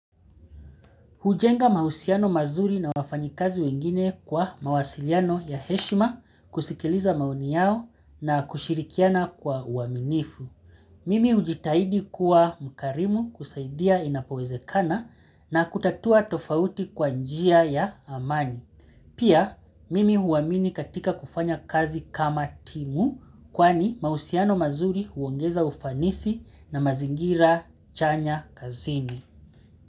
Hujenga mahusiano mazuri na wafanyikazi wengine kwa mawasiliano ya heshima kusikiliza maoni yao na kushirikiana kwa uaminifu. Mimi ujitahidi kuwa mkarimu kusaidia inapowezekana na kutatua tofauti kwa njia ya amani. Pia, mimi huamini katika kufanya kazi kama timu kwani mahusiano mazuri huongeza ufanisi na mazingira chanya kazini.